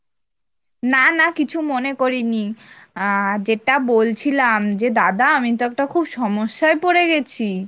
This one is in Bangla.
না না কিছু মনে করিনি, আহ যেটা বলছিলাম যে দাদা আমি তো একটা খুব সমস্যায় পরে গেছি,